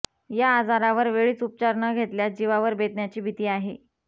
या आजारावर वेळीच उपचार न घेतल्यास जीवावर बेतण्याची भीती आहे